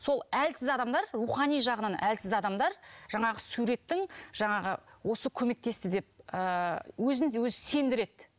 сол әлсіз адамдар рухани жағынан әлсіз адамдар жаңағы суреттің жаңағы осы көмектесті деп ы өзін де өзі сендіреді